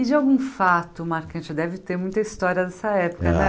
E de algum fato, marcante, deve ter muita história dessa época né. É